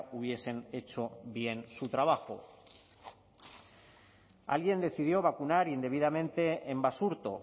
hubiesen hecho bien su trabajo alguien decidió vacunar indebidamente en basurto